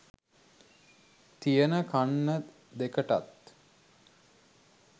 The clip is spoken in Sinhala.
තියෙන කන්න දෙකටත්